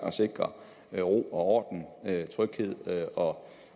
at sikre ro og orden tryghed